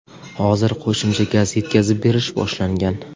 Hozir qo‘shimcha gaz yetkazib berish boshlangan.